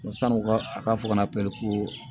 San'u ka a ka fɔ ka na pɛriko